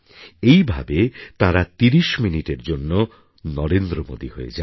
এই ভাবে তাঁরা তিরিশ মিনিটের জন্য নরেন্দ্র মোদী হয়ে যান